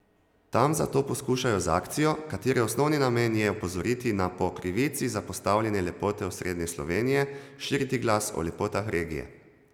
Tam zato poskušajo z akcijo, katere osnovni namen je opozoriti na po krivici zapostavljene lepote osrednje Slovenije, širiti glas o lepotah regije.